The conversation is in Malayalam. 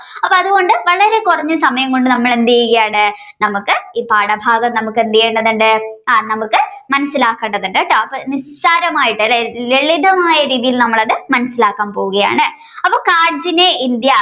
വളരെ കുറഞ്ഞ സമയം കൊണ്ട് നമ്മൾ എന്ത് ചെയ്യുകയാണ് നമുക്ക് ഈ പാഠഭാഗം നമുക്കെന്തിതുണ്ട് ആ നമുക്ക് മനസ്സിലാക്കേണ്ടതുണ്ട് കേട്ടോ അപ്പോ നിസ്സാരമായിട്ട് അല്ലേ ലളിതം ആയിട്ട് ഉള്ള രീതിയിൽ അത് മനസ്സിലാക്കാൻ പോവുകയാണ് അപ്പോൾ കാർജിന